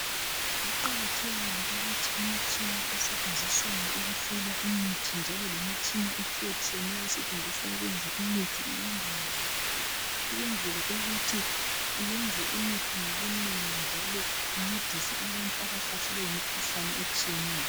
Kuqakathekile ukuthi imitshina esetshenziswayo ukusola imithi njalo lemitshina etshiyatshiyeneyo osetshenziswa ukuyenza imithi ilondolozwe ukuyenzelwa ukuba kwenze imithi ngomunengi incedise abantu abahlaselwe yimikhuhlane etshiyeneyo.